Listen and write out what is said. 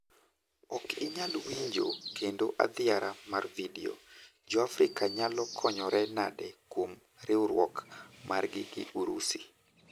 Ok inyal winjo kendo athiara mar video, Joafrika nyalo konyore nade kuom riwruok margi gi piny Urusi.